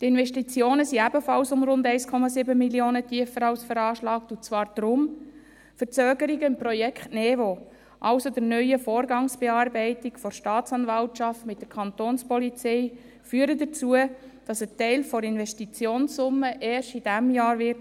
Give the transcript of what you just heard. Die Investitionen sind ebenfalls um rund 1,7 Mio. Franken tiefer als veranschlagt, und zwar deshalb: Verzögerungen im Projekt NeVo, also der neuen Vorgangsbearbeitung der Staatsanwaltschaft mit der Kantonspolizei, führen dazu, dass ein Teil der Investitionssumme erst dieses Jahr anfallen wird.